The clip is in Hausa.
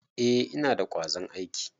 Eh, Ina da kwazon aiki.